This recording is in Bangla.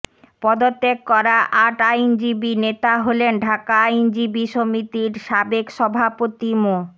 পদত্যাগ করা আট আইনজীবী নেতা হলেন ঢাকা আইনজীবী সমিতির সাবেক সভাপতি মো